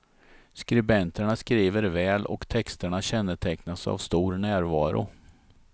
Skribenterna skriver väl och texterna kännetecknas av stor närvaro.